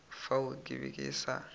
fao ke be ke sa